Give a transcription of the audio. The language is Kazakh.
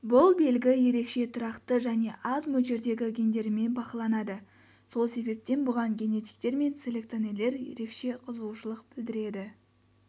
бұл белгі ерекше тұрақты және аз мөлшердегі гендерімен бақыланады сол себептен бұған генетиктер мен селекционерлер ерекше қызығушылық білдіреді